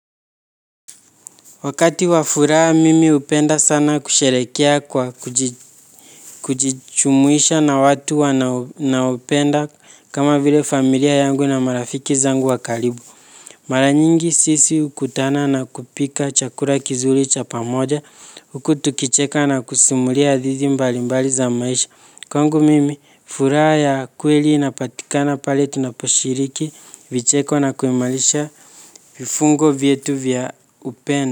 Wakati wafuraa mimi upenda sana kusherekea kwa kujichumuisha na watu wanaupenda kama vile familia yangu na marafiki zangu wakalibu. Mara nyingi sisi ukutana na kupika chakura kizuri cha pamoja uku tukicheka na kusimulia adhizi mbali mbali za maisha. Kwangu mimi furaa ya kweli inapatikana pale tunaposhiriki vicheko na kuimalisha vifungo vietu vya upenda.